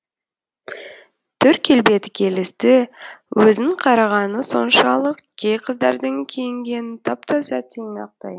түр келбеті келісті өзін қарағаны соншалық кей қыздардың киінгені тап таза тұйнақтай